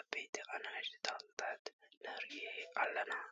ዓበይትን ኣናእሽትን ተክልታት ንርኢ ኣለና ።